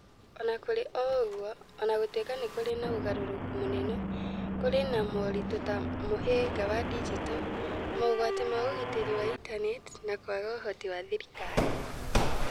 O na kũrĩ ũguo, o na gũtuĩka nĩ kũrĩ na ũgarũrũku mũnene, kũrĩ na moritũ ta mũhĩnga wa digito, mogwati ma ũgitĩri wa intaneti, na kwaga ũhoti wa thirikari.